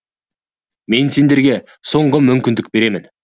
мен сендерге соңғы мүмкіндік беремін